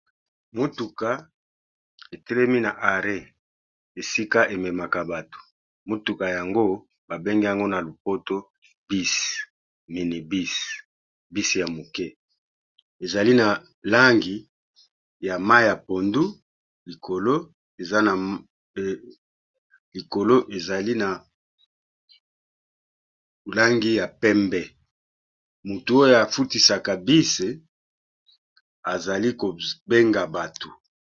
Motuka etelemi na arret esika ememaka bato, motuka yango ba bengi yango na lopoto bus mini bus ya moke. Ezali na langi ya mayi ya pondu, likolo ezali na langi ya pembe, motu oyo afutisaka bus azali ko benga batu.